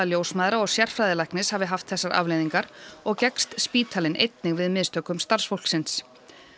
ljósmæðra og sérfræðilæknis hafi haft þessar afleiðingar og gekkst spítalinn einnig við mistökum starfsfólksins